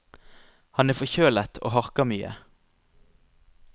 Han er forkjølet og harker mye.